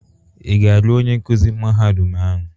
Ị ga-alụ onye nkuzi mahadum ahụ?